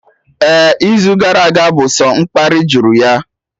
Ehhh, izu gara aga bụ sọ mkparị juru ya